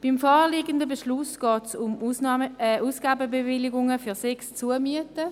Beim vorliegenden Beschluss geht es um Ausgabenbewilligungen für sechs Zumieten.